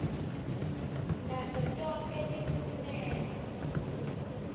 nato tonkhe timfuneko